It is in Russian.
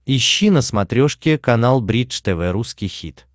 ищи на смотрешке канал бридж тв русский хит